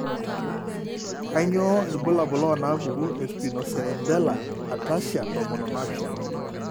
Kainyio irbulabul onaapuku eSpinocerebellar ataxia tomon onaapishana?